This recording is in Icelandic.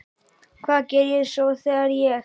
Hvað geri ég svo þegar ég kem út?